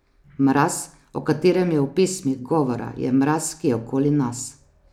Mraz, o katerem je v pesmih govora, je mraz, ki je okoli nas.